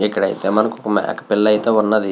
ఇక్కడ మనకి ఒక మేక పిల్ల అయతె వునాది.